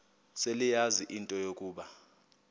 seleyazi into yokuba